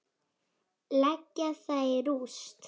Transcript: Leggja það í rúst!